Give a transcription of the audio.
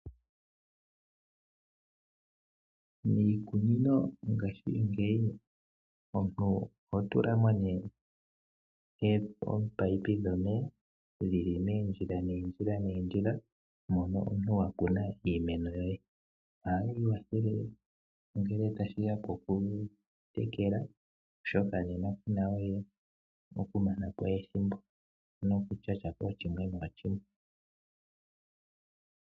Miikununo ngashingeyi omuntu oho tuka mo nee oopaipi dhomeya dhibli meendjila neendjila neendjila momoo omuntu wa kuna iimeno uoye ohayi watheke ngle tashi ya pokutekela oshoka nenakuna we okumana po wthhimbo nokushasha po.